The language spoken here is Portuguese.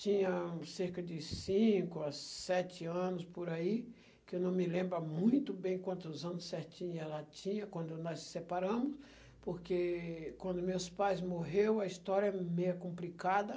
Tinha cerca de cinco a sete anos por aí, que eu não me lembro a muito bem quantos anos certinho ela tinha, quando nós se separamos, porque quando meus pais morreu, a história é meia complicada.